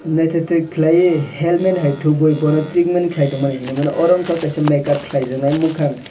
naitotok kelai helmet hai topboi bono treatment kelai tongmani hinui mano aro ungka kaisa makeup kelai jak nai mukhang.